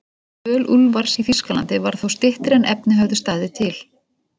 Dvöl Úlfars í Þýskalandi varð þó styttri en efni höfðu staðið til.